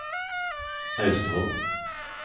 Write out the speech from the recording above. Austevoll